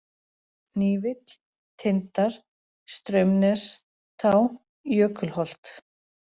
Hnífill, Tindar, Straumnestá, Jökulholt